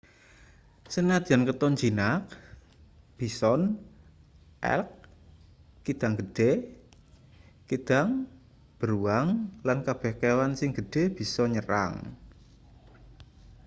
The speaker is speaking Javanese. sanadyan katon jinak bison elk kidang gedhe kidang beruang lan kabeh kewan sing gedhe bisa nyerang